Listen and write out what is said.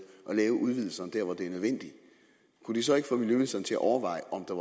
at lave udvidelserne der hvor det er nødvendigt kunne det så ikke få miljøministeren til at overveje om der